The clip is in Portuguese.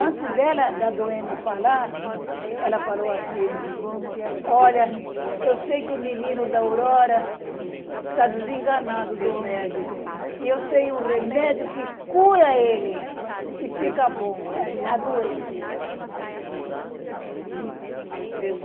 Antes dela, da doente falar, ela falou assim, olha, eu sei que o menino da Aurora está desenganado do médico e eu sei um remédio que cura ele e fica bom, a doente.